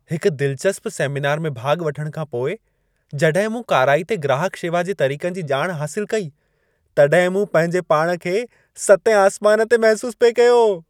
हिकु दिलचस्प सेमिनार में भाॻु वठण खां पोइ, जॾहिं मूं काराइते ग्राहक शेवा जे तरीक़नि जी ॼाण हासिल कई, तॾहिं मूं पंहिंजे पाण खे सतें आसमान ते महिसूसु पिए कयो।